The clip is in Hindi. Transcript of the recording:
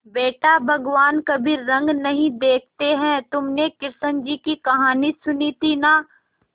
बेटा भगवान कभी रंग नहीं देखते हैं तुमने कृष्ण जी की कहानी सुनी थी ना